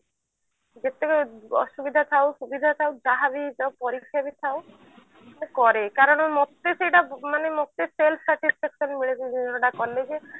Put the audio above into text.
ଯେତେ ଅସୁବିଧା ଥାଉ ସୁବିଧା ଥାଉ ଯାହାବି ହେଇ ଯାଉ ପରୀକ୍ଷା ବି ଥାଉ ମୁଁ କରେ କାରଣ ମତେ ସେଇଟା ମାନେ ମତେ self satisfaction ମିଳୁଛି ମୁଁ ଏତ କଲେ ଯେ